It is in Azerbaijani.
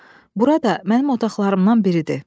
Bura da mənim otaqlarımdan biridir.